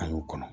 An y'u kɔnɔ